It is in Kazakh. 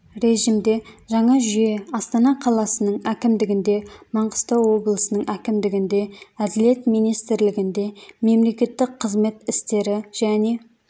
режімде жаңа жүйе астана қаласының әкімдігінде маңғыстау облысының әкімдігінде әділет министрлігінде мемлекеттік қызмет істері және